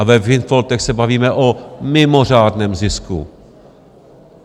A ve windfallech se bavíme o mimořádném zisku.